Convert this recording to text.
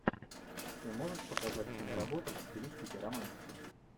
ты можешь показать киноработу в стилистике романтики